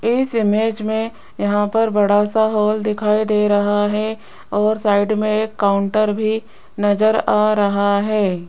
इस इमेज में यहां पर बड़ा सा हॉल दिखाई दे रहा है और साइड में एक काउंटर भी नजर आ रहा है।